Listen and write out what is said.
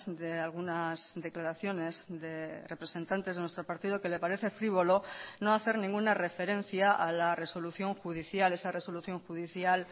de algunas declaraciones de representantes de nuestro partido que le parece frívolo no hacer ninguna referencia a la resolución judicial esa resolución judicial